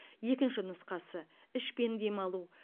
екінші нұсқасы ішпен демалу